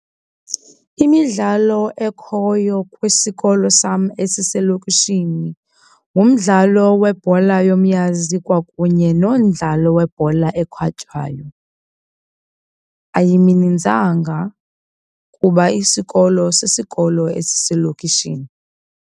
Imidlalo ekhoyo kwisikolo sam esiselokishini ngumdlalo webhola yomnyazi kwakunye nomdlalo webhola ekhatywayo. Ayiminintsanga kuba isikolo sisikolo esiselokishini.